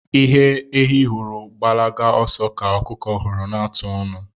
Ihe ehi hụrụ gbalaba oso ka okuku huru na-atụ onu